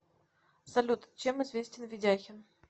салют чем известен ведяхин